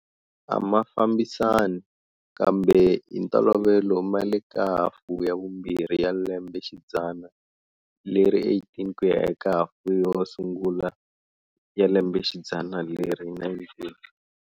A ma fambisani, kambe hi ntolovelo ma le ka hafu ya vumbirhi ya lembexidzana leri18 ku ya eka hafu yo sungula ya lembexidzana leri19.